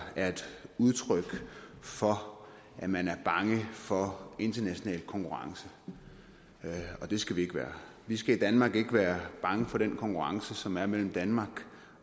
er et udtryk for at man er bange for international konkurrence og det skal vi ikke være vi skal i danmark ikke være bange for den konkurrence som er mellem danmark